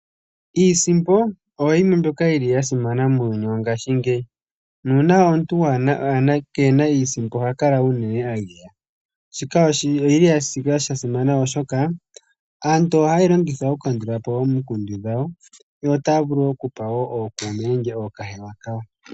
Iisimpo oyo yimwe mbyoka yi li ya simana muuyuni wongashi ngeyi, nuuna omuntu keena iisimpo oha kala unene agaya. Shika oshi li sha simana oshoka aantu oha ye yi longitha oku kandula po omikundu dhawo, yo otaya vulu okuza ookuume nenge ookahewa kayo.